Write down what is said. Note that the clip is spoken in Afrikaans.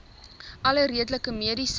alle redelike mediese